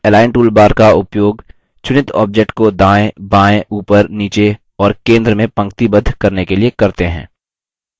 हम align toolbar का उपयोग चुनित object को दायें बायें ऊपर नीचे और centre में पंक्तिबद्ध करने के लिए करते हैं